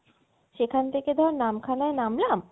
সেখান থেকে ধর নামখানায় নামলাম